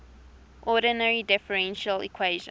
ordinary differential equations